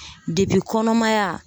kɔnɔmaya